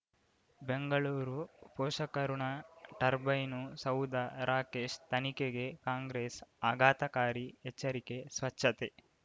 ಬೆಂಗಳೂರು ಪೋಷಕಋಣ ಟರ್ಬೈನು ಸೌಧ ರಾಕೇಶ್ ತನಿಖೆಗೆ ಕಾಂಗ್ರೆಸ್ ಆಘಾತಕಾರಿ ಎಚ್ಚರಿಕೆ ಸ್ವಚ್ಛತೆ